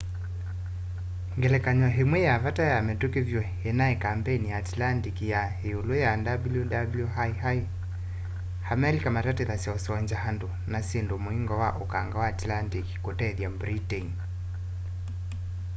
ngelekany'o imwe ya vata ya mituki vyu inai kambeni sya atlantic ya iulu ya wwii a amelika matatithasya usongya andu na syindu muingo wa ukanga wa atlantic kutethya britain